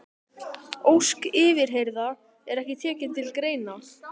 Ósk yfirheyrða er ekki tekin til greina.